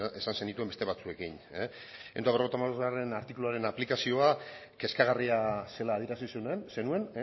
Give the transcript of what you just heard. esan zenituen beste batzuekin ehun eta berrogeita hamabostgarrena artikuluaren aplikazioa kezkagarria zela adierazi zenuen